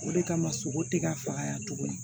O de kama sogo te ka faga tuguni